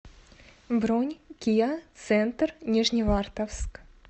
бронь киа центр нижневартовск